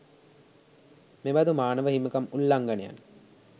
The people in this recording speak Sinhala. මෙබදු මානව හිමිකම් උල්ලංඝනයන්